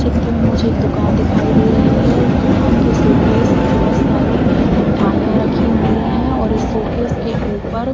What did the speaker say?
चित्र में मुझे एक दुकान दिखाई दे रही है इस दुकान के शोकेस में बहुत सारी मिठाइयाँ रखी हुई हैं और इस शोकेस के ऊपर --